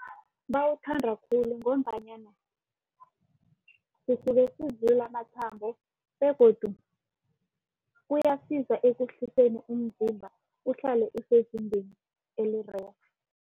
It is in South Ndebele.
Bawuthanda khulu ngombanyana kusuke sivula amathambo begodu kuyasiza ekutheni umzimba uhlale usezingeni elirerhe.